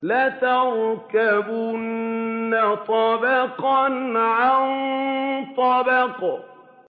لَتَرْكَبُنَّ طَبَقًا عَن طَبَقٍ